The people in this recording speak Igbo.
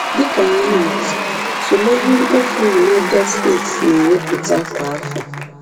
Dị ka ihe atụ, tụlee ihe mkpofu United States na-ewepụta kwa afọ.